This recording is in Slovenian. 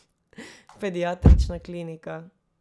Pediatrična klinika.